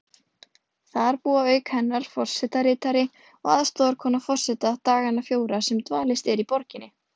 Þar búa auk hennar forsetaritari og aðstoðarkona forseta dagana fjóra sem dvalist er í borginni.